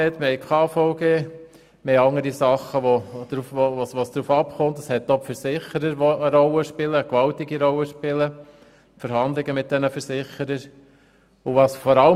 Es gibt Tarmed und KVG von denen vieles abhängt und auch die Versicherer und die Verhandlungen mit ihnen spielen eine grosse Rolle.